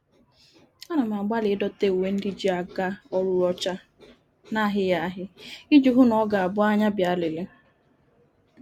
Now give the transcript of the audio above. Ana m agbali idote uwe ndi ji aga órú ocha, n'ahighi ya ahi, Iji hu na o ga -abu anya bia lere